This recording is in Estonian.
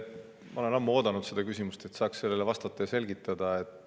Ma olen ammu oodanud seda küsimust, et saaks sellele vastata ja asju selgitada.